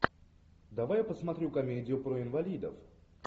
давай я посмотрю комедию про инвалидов